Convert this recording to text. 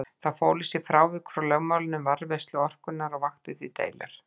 Það fól í sér frávik frá lögmálinu um varðveislu orkunnar og vakti því deilur.